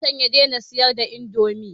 Ya daɗe da shagon can ya daina siyar da indomi